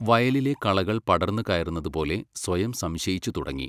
വയലിലെ കളകൾ പടർന്നു കയറുന്നത് പോലെ സ്വയം സംശയിച്ചു തുടങ്ങി.